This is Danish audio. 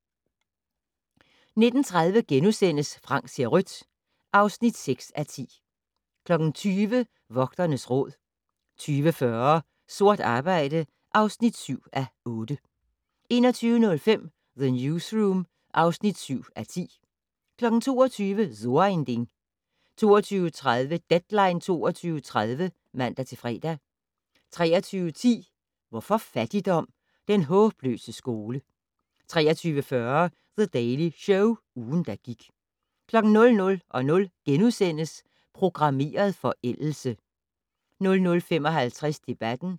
19:30: Frank ser rødt (6:10)* 20:00: Vogternes Råd 20:40: Sort arbejde (7:8) 21:05: The Newsroom (7:10) 22:00: So ein Ding 22:30: Deadline 22.30 (man-fre) 23:10: Hvorfor fattigdom? - Den håbløse skole 23:40: The Daily Show - ugen, der gik 00:00: Programmeret forældelse * 00:55: Debatten